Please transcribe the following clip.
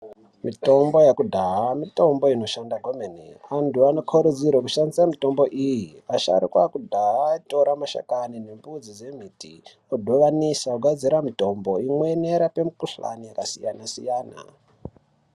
Mitombo yekudhaya mitombo inoshanda kwemene. Vantu vanokurudzirwa kushandise mitombo iyi. Vasharuka vekudhaya vaitora mashakani nemidzi yemiti vodhibanisa kugadzire mitombo imweni inorape mukhuhlani yakasiyana siyana.